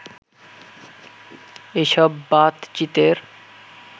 এসব বাতচিতের